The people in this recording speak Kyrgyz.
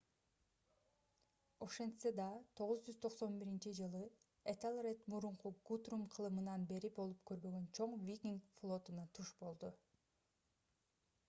ошентсе да 991-жылы этелред мурунку гутрум кылымынан бери болуп көрбөгөн чоң викинг флотуна туш болду